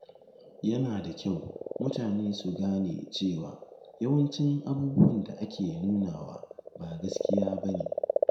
Yana da kyau mutane su gane cewa yawancin abubuwan da ake nunawa ba gaskiya ba ne.